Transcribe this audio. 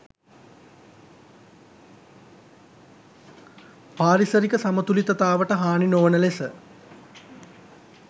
පාරිසරික සමතුළිතතාවට හානි නොවන ලෙස